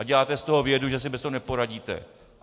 A děláte z toho vědu, že si bez toho neporadíte.